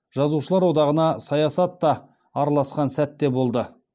жазушылар одағына саясатта араласқан сәт те болды